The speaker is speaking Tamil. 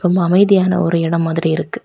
ரொம்ப அமைதியான ஒரு எடம் மாதிரி இருக்கு.